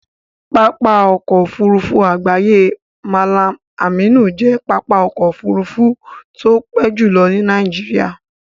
Pápá ọkọ̀ Òfurufú àgbáyé Mallam Aminu jẹ́ pápá ọkọ̀ Òfurufú tó pé jùlo ní Nàìjíríà